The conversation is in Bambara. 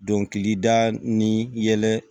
Dɔnkilida ni yɛlɛ